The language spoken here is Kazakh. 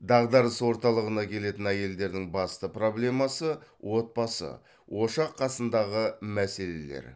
дағдарыс орталығына келетін әйелдердің басты проблемасы отбасы ошақ қасындағы мәселелер